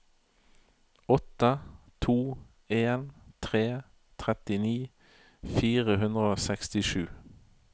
åtte to en tre trettini fire hundre og sekstisju